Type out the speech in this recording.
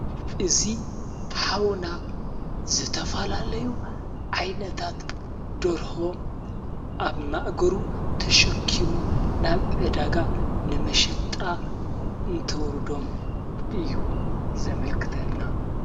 እዚ ኃዉና ዘተፈላለዩ ዓይነታት ደርሆ ኣብ ማእገሩ ተሸኪሙ ናብ ዕዳጋ ነመሸጣ እንተውሩዶም እዩ ዘመልክተና::